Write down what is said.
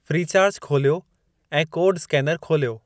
Freecharge खोलियो ऐं code scanner खोलियो।